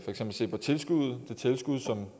tilskud som